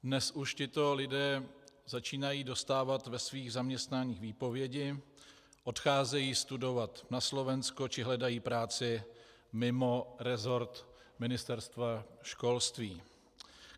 Dnes už tito lidé začínají dostávat ve svých zaměstnáních výpovědi, odcházejí studovat na Slovensko či hledají práci mimo resort Ministerstva školství.